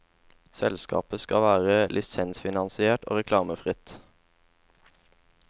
Selskapet skal være lisensfinansiert og reklamefritt.